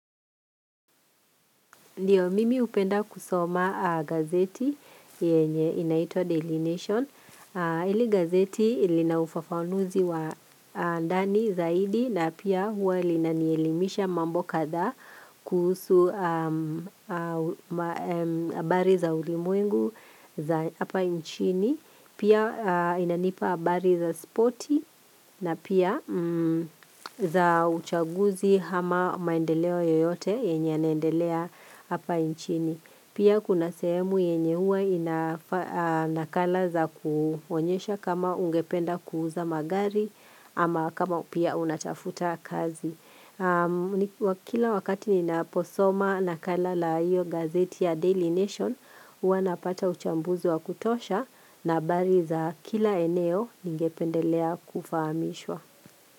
Ndiyo, mimi upenda kusoma gazeti yenye inaito Daily Nation. Ili gazeti ilinaufafanuzi wa ndani zaidi na pia huwa linanielimisha mambo katha kuhusu habari za ulimuengu za hapa inchini. Pia inanipa habari za spoti na pia za uchaguzi hama maendeleo yoyote yenye ya naendelea hapa inchini. Pia kuna sehemu yenye huwa inakala za kuonyesha kama ungependa kuuza magari ama kama pia unatafuta kazi. Kila wakati nina posoma nakala la hiyo gazeti ya Daily Nation Uwa napata uchambuzi wa kutosha na habari za kila eneo ningependelea kufahamishwa.